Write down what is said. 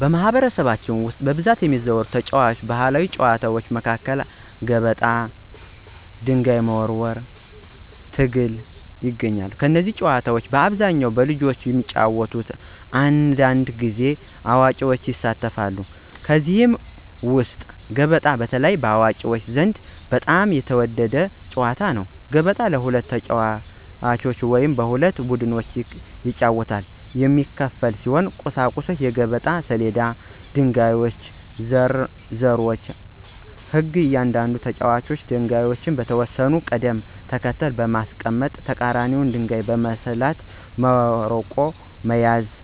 በማኅበረሰባችን ውስጥ በብዛት የሚዘወተሩ ተወዳጅ ባሕላዊ ጨዋታዎች መካከል ገበጣ፣ ጭብጥ (ድንጋይ መወርወር) እና ትግል ይገኛሉ። እነዚህ ጨዋታዎች በአብዛኛው በልጆች ቢጫወቱም አንዳንድ ጊዜ አዋቂዎችም ይሳተፋሉ። ከእነዚህ ውስጥ ገበጣ በተለይ በአዋቂዎች ዘንድ በጣም የተወደደ ጨዋታ ነው። ገበጣ በሁለት ተጫዋቾች ወይም በሁለት ቡድኖች ይጫወታል። የሚያስፈልጉት ቁሳቁሶች የገበጣ ሰሌዳ እና ድንጋዮች ወይም ዘሮች ናቸው። ሕጉ እያንዳንዱ ተጫዋች ድንጋዮቹን በተወሰነ ቅደም ተከተል በማንቀሳቀስ የተቀራኒውን ድንጋይ በስልት መርቆ መያዝ ነው።